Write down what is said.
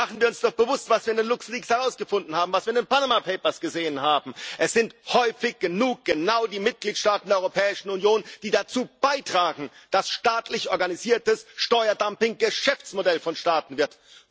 Denn machen wir uns doch bewusst, was wir in den LuxLeaks herausgefunden haben, was wir in den Panama Papers gesehen haben Es sind häufig genug genau die Mitgliedstaaten der Europäischen Union, die dazu beitragen, dass staatlich organisiertes Steuerdumping Geschäftsmodell von Staaten wird!